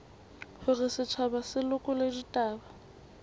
hore setjhaba se lekole ditaba